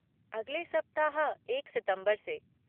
अगले सप्ताह, एक सितम्बर से।